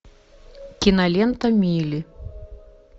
кинолента мили